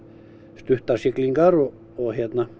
stuttar siglingar og og